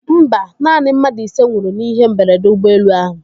Mba, naanị mmadụ ise nwụrụ n'ihe mberede ụgbọelu ahụ.